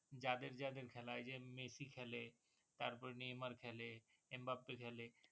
যাদের যাদের খেলা এই যে মেসি খেলে তারপর নেমার খেলে খেলে